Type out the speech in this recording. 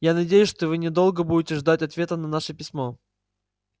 я надеюсь что вы недолго будете ждать ответа на ваше письмо